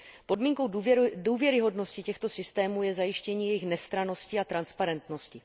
Podmínkou důvěryhodnosti těchto systémů je zajištění jejich nestrannosti a transparentnosti.